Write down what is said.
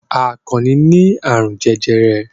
Àkànnì ní àrùn jẹjẹrẹ.